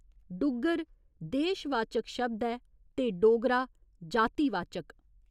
'डुग्गर' देश वाचक शब्द ऐ ते 'डोगरा' जाति वाचक।